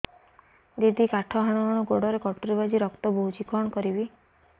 ଦିଦି କାଠ ହାଣୁ ହାଣୁ ଗୋଡରେ କଟୁରୀ ବାଜି ରକ୍ତ ବୋହୁଛି କଣ କରିବି